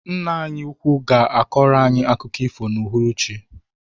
Ńnà anyị úkwú ga akoro anyị akụkọ ifo na uhuruchi.